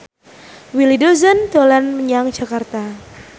Willy Dozan dolan menyang Jakarta